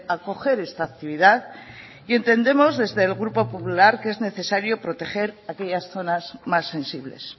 acoger esta actividad y entendemos desde el grupo popular que es necesario proteger aquellas zonas más sensibles